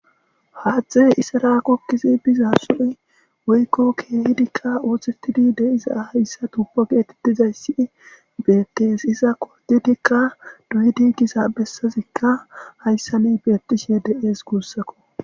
haaththey isara gogidi biza suy woykko keehidikka ooththetidi deiza hayssa tupo geetitizay si beekkees iza kodidikka duyidi giza bessazikka hayssa ne beettishe de7ees guussakko